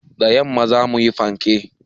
Da yamma za mu yi fanke.